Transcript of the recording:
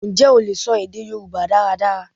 Ǹjẹ́ o lè sọ èdè Yorùbá dáradára?